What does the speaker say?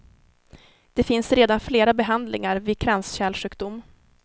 Det finns redan flera behandlingar vid kranskärlssjukdom.